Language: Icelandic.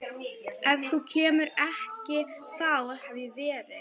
Ef þú kemur ekki þá hef ég verið